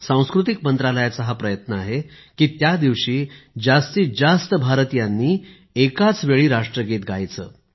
सांस्कृतिक मंत्रालयाचा प्रयत्न आहे की त्या दिवशी जास्तीत जास्त भारतीयांनी एकाच वेळी राष्ट्रगीत गायचे